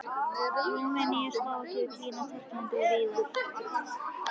Rúmeníu, Slóvakíu, Kína, Tyrklandi og víðar.